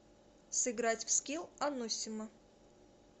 сыграть в скилл ануссимо